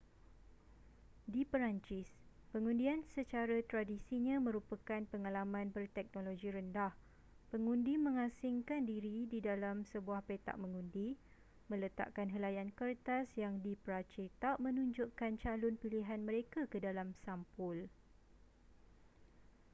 di perancis pengundian secara tradisinya merupakan pengalaman berteknologi rendah pengundi mengasingkan diri di dalam sebuah petak mengundi meletakkan helaian kertas yang dipracetak menunjukkan calon pilihan mereka ke dalam sampul